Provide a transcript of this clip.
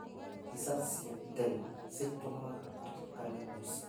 Mbica cia tene citũmaga ndirikane mũciĩ.